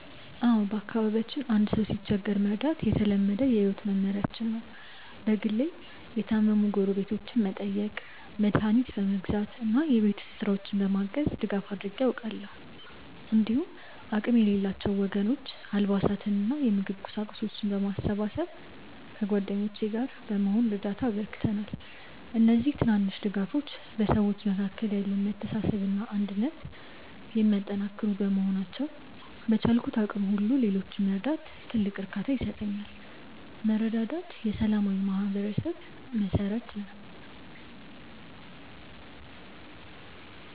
አዎ፣ በአካባቢያችን አንድ ሰው ሲቸገር መርዳት የተለመደ የህይወት መመሪያችን ነው። በግሌ የታመሙ ጎረቤቶችን በመጠየቅ፣ መድኃኒት በመግዛት እና የቤት ውስጥ ስራዎችን በማገዝ ድጋፍ አድርጌ አውቃለሁ። እንዲሁም አቅም ለሌላቸው ወገኖች አልባሳትንና የምግብ ቁሳቁሶችን በማሰባሰብ ከጓደኞቼ ጋር በመሆን እርዳታ አበርክተናል። እነዚህ ትናንሽ ድጋፎች በሰዎች መካከል ያለውን መተሳሰብና አንድነት የሚያጠናክሩ በመሆናቸው፣ በቻልኩት አቅም ሁሉ ሌሎችን መርዳት ትልቅ እርካታ ይሰጠኛል። መረዳዳት የሰላማዊ ማህበረሰብ መሠረት ነው።